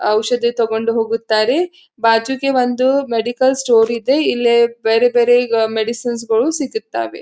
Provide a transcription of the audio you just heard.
ಔಷದಿ ತೊಕೊಂಡು ಹೋಗುತ್ತಾರೆ ಬಾಜುಗೆ ಒಂದು ಮೆಡಿಕಲ್ ಸ್ಟೋರ್ ಇದೆ ಇಲ್ಲಿ ಬೇರೆ ಬೇರೆ ಈಗ ಮೆಡಿಸಿನ್ ಗಳು ಸಿಗತ್ತವೆ.